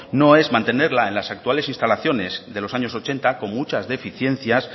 no es mantenerla en las actuales instalaciones de los años ochenta con muchas deficiencias